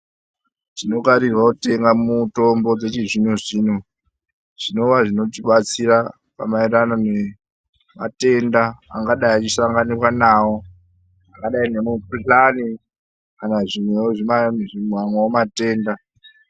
Tinokarirwao kutenga mitombo dzechizvino zvino zvinova zvinotibatsira pamaererano nematenda angadai achisanganikwa nawo akadai nemikuhlani kana zvimweo zvimamwe matenda.